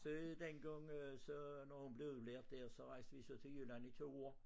Så dengang øh så når hun blev lærer dér så rejste vi så til Jylland i 2 år